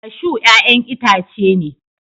kashu ya'yan itace ne